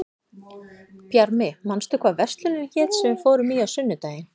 Bjarmi, manstu hvað verslunin hét sem við fórum í á sunnudaginn?